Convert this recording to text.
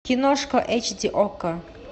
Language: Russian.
киношка эйч ди окко